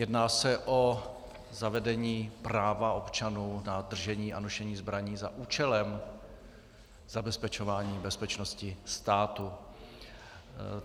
Jedná se o zavedení práva občanů na držení a nošení zbraní za účelem zabezpečování bezpečnosti státu.